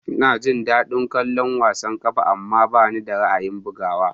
Ina jin daɗin kallon wasan ƙwallon ƙafa, amma bani da ra'ayin bugawa.